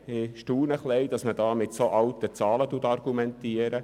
Ich staune ein bisschen, dass man mit derart alten Zahlen argumentiert.